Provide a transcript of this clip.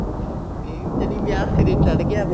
ਇਹ ਜਿਹੜੀ ਵਿਆਹ ਸਿਰੇ ਚੱੜ ਗਿਆ